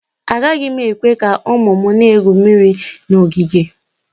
Agaghị m ekwe ka ụmụ m na-egwu mmiri na ogige